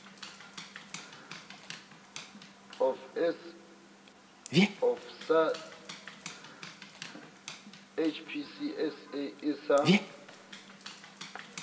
of sa hpcsa e sa